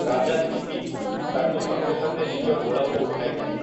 ରାଜା ଶିବି, ତାକୁ ସଙ୍ଗେ ସଙ୍ଗେ ନିଜ କୋଳକୁ ଉଠାଇ ନେଲେ ।